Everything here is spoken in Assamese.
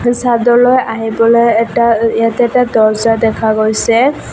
চাদলৈ আহিবলৈ এটা অ ইয়াত এটা দর্জা দেখা গৈছে।